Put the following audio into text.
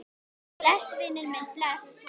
Bless, vinur minn, bless.